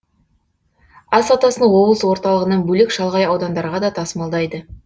ас атасын облыс орталығынан бөлек шалғай аудандарға да тасымалдайды